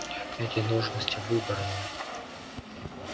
эти должности выборные